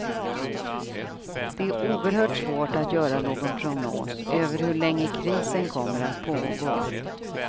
Det är oerhört svårt att göra någon prognos över hur länge krisen kommer att pågå.